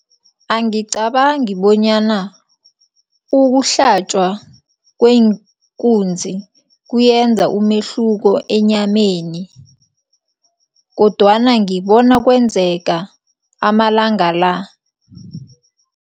Angicabangi bonyana ukuhlatjwa kweenkunzi kuyenza umehluko enyameni kodwana ngibona kwenzeka amalanga la.